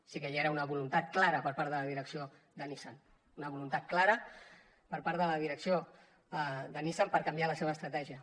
sí que hi era una voluntat clara per part de la direcció de nissan una voluntat clara per part de la direcció de nissan per canviar la seva estratègia